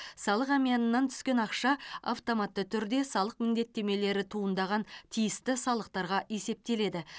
салық әмиянынан түскен ақша автоматты түрде салық міндеттемелері туындаған тиісті салықтарға есептеледі